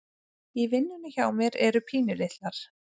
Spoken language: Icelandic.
í vinnunni hjá mér eru pínulitlar